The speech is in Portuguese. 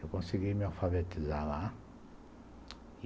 Eu consegui me alfabetizar lá.